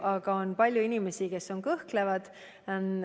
Aga on palju inimesi, kes kõhklevad.